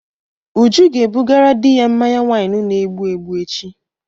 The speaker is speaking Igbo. Uju ga ebugara di ya mmanya waịnu na-egbụ egbụ echi.